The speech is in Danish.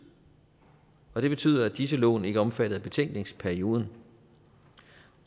og det betyder at disse lån ikke er omfattet af betænkningsperioden